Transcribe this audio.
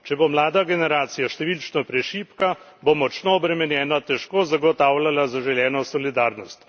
Če bo mlada generacija številčno prešibka, bo, močno obremenjena, težko zagotavljala zaželeno solidarnost.